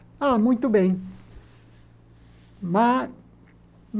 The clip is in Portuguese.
Ah, muito bem.